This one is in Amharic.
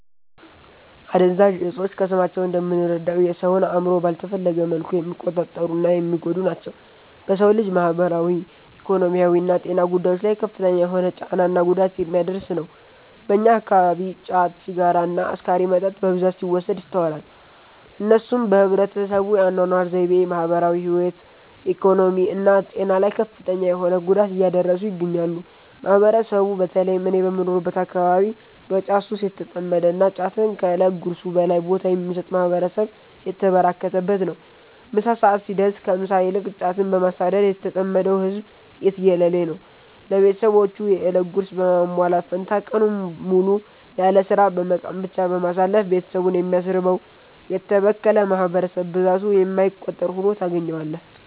አደንዛዥ እፆች ከስማቸው እንደምንረዳው የ ሰውን አእምሮ ባልተፈለገ መልኩ የሚቆጣጠሩ እና የሚጎዱ ናቸው። በ ሰው ልጅ ማህበራዊ፣ ኢኮኖሚያዊና ጤና ጉዳዮች ላይ ከፍተኛ የሆነ ጫና እና ጉዳት የሚያደርስ ነው። በእኛ አከባቢ ጫት፣ ሲጋራ እና አስካሪ መጠጥ በብዛት ሲወሰድ ይስተዋላል። እነሱም በህብረተሰቡ የ አናኗር ዘይቤ፣ ማህበራዊ ህይወት፣ ኢኮኖሚ እና ጤና ላይ ከፍተኛ የሆነ ጉዳት እያደረሱ ይገኛሉ። ማህበረሰቡ በ ተለይም እኔ በምኖርበት አከባቢ በ ጫት ሱስ የተጠመደ እና ጫትን ከ እለት ጉርሱ በላይ ቦታ የሚሰጥ ማህበረሰብ የተበራከተበት ነው። ምሳ ሰዐት ሲደርስ ከ ምሳ ይልቅ ጫትን በማሳደድ የተጠመደው ህዝብ የትየለሌ ነው። ለቤትሰቦቹ የ እለት ጉርስ በማሟላት ፈንታ ቀኑን ሙሉ ያለስራ በመቃም ብቻ በማሳለፍ ቤትሰቡን የሚያስርበው: የተበከለ ማህበረሰብ ብዛቱ የማይቆጠር ሁኖ ታገኛዋለህ።